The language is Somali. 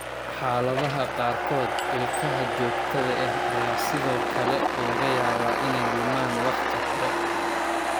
Xaaladaha qaarkood, ilkaha joogtada ah ayaa sidoo kale laga yaabaa inay lumaan waqti hore.